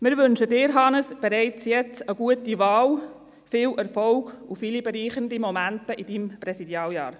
Wir wünschen Ihnen, Hannes Zaugg-Graf, bereits jetzt eine gute Wahl, viel Erfolg und viele bereichernde Momente während Ihres Präsidialjahrs.